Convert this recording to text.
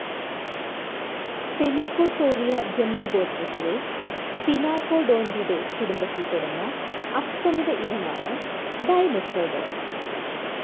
Pelycosauria ജന്തുഗോത്രത്തിലെ Sphenacodontidae കുടുംബത്തിൽപ്പെടുന്ന അസ്തമിത ഇനമാണ് ഡൈമെട്രോഡോൺ.